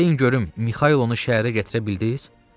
Deyin görüm, Mixaylonu şəhərə gətirə bildiniz?